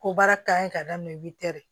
Ko baara ka ɲi ka daminɛ